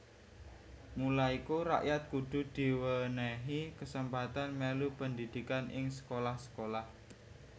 Mula iku rakyat kudu diwènèhi kasempatan mèlu pendhidhikan ing sekolah sekolah